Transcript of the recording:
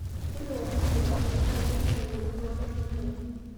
Ore uamusi pookin enye naa keipirta yieunot oo ltung'ana lenya